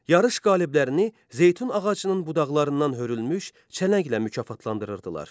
Yarış qaliblərini zeytun ağacının budaqlarından hörülmüş çələnglə mükafatlandırırdılar.